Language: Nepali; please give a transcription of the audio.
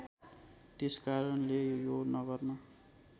त्यसकारणले यो नगरमा